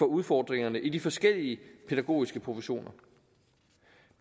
udfordringerne i de forskellige pædagogiske professioner